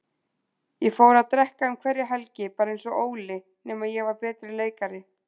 Ég fór að drekka um hverja helgi, bara einsog Óli, nema ég var betri leikari.